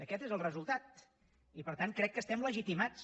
aquest és el resultat i per tant crec que estem legitimats